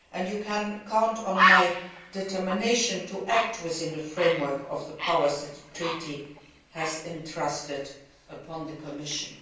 You can count on my determination to act within the framework of the powers that the treaty has entrusted to the Commission.